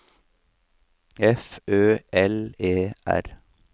F Ø L E R